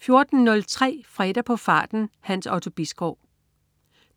14.03 Fredag på farten. Hans Otto Bisgaard